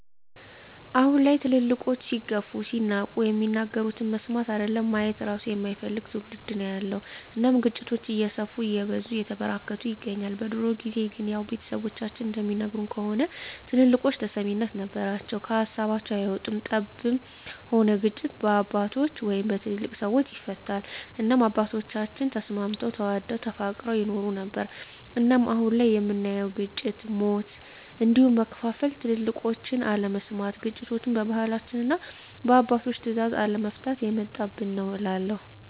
አሁን ላይ ትልልቆች ሲገፉ ሲናቁ የሚናገሩትን መስማት አይደለም ማየት እራሱ የማይፈልግ ትዉልድ ነዉ ያለዉ እናም ግጭቶች እየሰፉ እየበዙ እየተበራከቱ ይገኛል። በድሮ ጊዜ ግን ያዉ ቤተሰቦቻችን እንደሚነግሩን ከሆነ ትልልቆች ተሰሚነት ነበራቸዉ ከሀሳባቸዉ አይወጡም ጠብም ሆነ ግጭት በአባቶች(በትልልቅ ሰወች) ይፈታል እናም አባቶቻችን ተስማምተዉ ተዋደዉ ተፋቅረዉ ይኖሩ ነበር። እናም አሁን ላይ የምናየዉ ግጭ፣ ሞት፣ ስደት እንዲሁም መከፋፋል ትልቆችን አለመስማት ግጭቶችችን በባህላችንና እና በአባቶች ትእዛዝ አለመፍታት የመጣብን ነዉ እላለሁ።